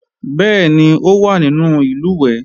Bẹ́ẹ̀ni, ó wá nínú ìlùwẹ̀ẹ̀